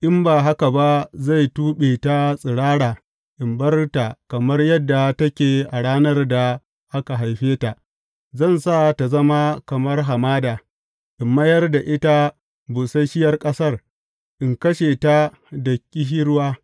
In ba haka ba zai tuɓe ta tsirara in bar ta kamar yadda take a ranar da aka haife ta; zan sa ta zama kamar hamada, in mayar da ita busasshiyar ƙasar, in kashe ta da ƙishirwa.